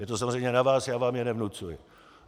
Je to samozřejmě na vás, já vám je nevnucuji.